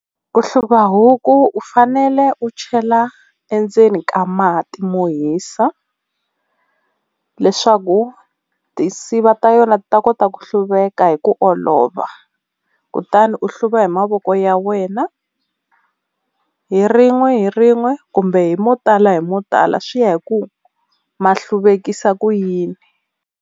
Ku hluva huku u fanele u chela endzeni ka mati mo hisa leswaku tinsiva ta yona ti ta kota ku hluveka hi ku olova, kutani u hluva hi mavoko ya wena hi rin'we hi rin'we kumbe hi mo tala hi mo tala swi ya hi ku ma hluvekisa ku yini.